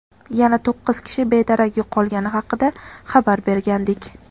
yana to‘qqiz kishi bedarak yo‘qolgani haqida xabar bergandik.